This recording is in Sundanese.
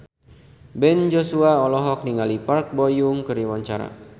Ben Joshua olohok ningali Park Bo Yung keur diwawancara